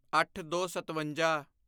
ਅੱਠਦੋਸਤਵੰਜਾ